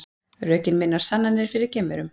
Rökin minna á sannanir fyrir geimverum